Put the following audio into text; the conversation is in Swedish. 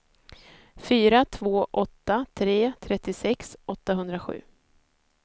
fyra två åtta tre trettiosex åttahundrasju